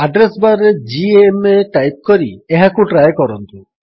address bar ରେ GMA type କରି ଏହାକୁ ଟ୍ରାଏ କରନ୍ତୁ